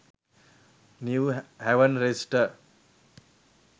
new haven register